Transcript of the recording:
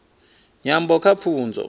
nyambo kha pfunzo